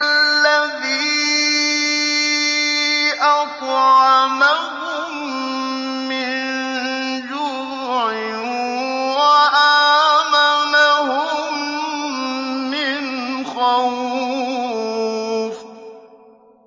الَّذِي أَطْعَمَهُم مِّن جُوعٍ وَآمَنَهُم مِّنْ خَوْفٍ